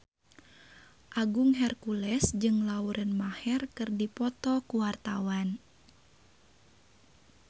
Agung Hercules jeung Lauren Maher keur dipoto ku wartawan